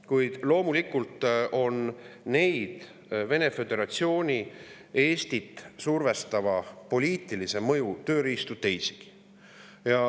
Kuid loomulikult on Vene föderatsiooni Eestit survestava poliitilise mõju tööriistu teisigi.